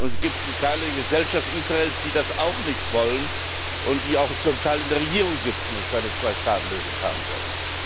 Und es gibt Kreise in der Gesellschaft Israels, die das auch nicht wollen und die auch zum Teil in der Regierung sitzen und keine Zweistaatenlösung haben wollen.